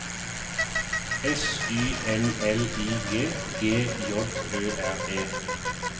S Y N L I G G J Ø R E